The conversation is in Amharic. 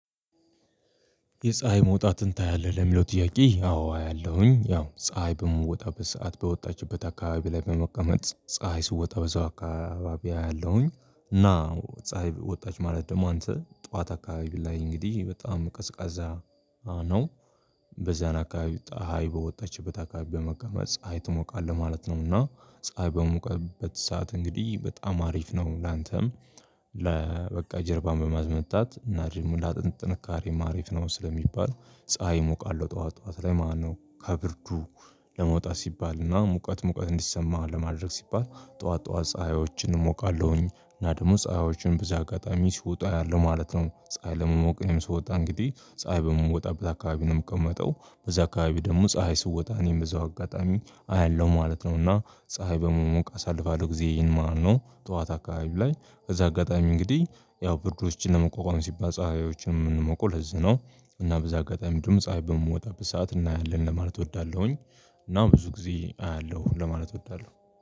የፀሀይ መውጣትን ታያለህ ለሚለው ጥያቄ? አዎ አያለሁኝ ያው ፀሀይ በምትወጣበት ሰዓት በወጣችበት አካባቢ ላይ በመቀመጥ ፀሀይ ስትወጣ በዛው አካባቢ አያለሁኝ። እና ፀሀይ ወጣች ማለት ደግሞ አንተ ጠዋት አካባቢ ላይ እንግዲህ በጣም ቀዝቃዛ ነው። በዚያን አካባቢ ፀሀይ በወጣችበት አካባቢ በመቀመጥ ፀሀይ ትሞቃለህ ማለት ነው። እና ፀሀይ በሞቀበት ሰዓት እንግዲህ በጣም አሪፍ ነው ላንተም። ለ በቃ ጀርባን በማስመታት ለአጥንት ጥንካሬም አሪፍ ነው ስለሚባለው ፀሀይ እሞቃለሁ ጠዋት ጠዋት ላይ ማለት ነው። ከብርዱ ለመውጣት ሲባልና ሙቀት ሙቀት እንዲሰማ ለማድረግ ሲባል ጠዋት ጠዋት ፀሀዮችን እሞቃለሁኝ እና ደግሞ ፀሀዮችን በዚህ አጋጣሚ ሲወጡ አያለሁ ማለት ነው። ፀሀይ ለመሞቅ እኔም ስወጣ እንግዲህ ፀሀይ በምትወጣበት አካባቢ ነው የምቀመጠው በዚያ አካባቢ ደግሞ ፀሀይ ስትወጣ እኔም በዛው አጋጣሚ አያለሁ ማለት ነው። እና ፀሀይ በመሞቅ አሳልፋለሁ ጊዜየን ማለት ነው። ጠዋት አካባቢ ላይ በዚህ አጋጣሚ እንግዲህ ያው ብርዶችን ለመቋቋም ሲባል ፀሀዮችን የምንሞቀው ለዚህ ነው። እና በዚህ አጋጣሚ እንዲሁም ፀሀይ በምትወጣበት ሰዓት እናያለን ለማለት እወዳለሁኝ። እና ብዙ ጊዜ አያለሁ ለማለት እወዳለሁ።